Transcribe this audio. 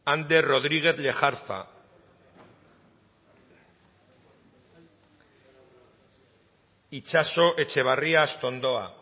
ander rodriguez lejarza itxaso etxebarria astondoa